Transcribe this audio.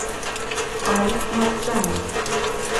аль марджани